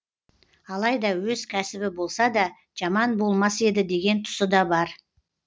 алайда өз кәсібі болса да жаман болмас еді деген тұсы да бар